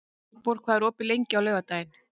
Valborg, hvað er opið lengi á laugardaginn?